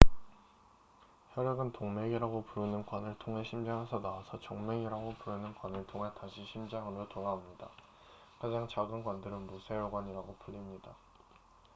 혈액은 동맥이라고 부르는 관을 통해 심장에서 나와서 정맥이라고 부르는 관을 통해 다시 심장으로 돌아옵니다 가장 작은 관들은 모세혈관이라고 불립니다